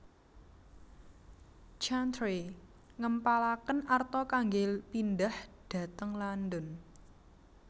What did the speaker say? Chantrey ngempalaken arta kanggé pindhah dhateng London